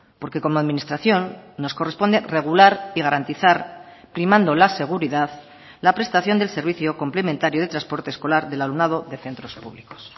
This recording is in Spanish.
porque como administración nos corresponde regular y garantizar primando la seguridad la prestación del servicio complementario de transporte escolar del alumnado de centros públicos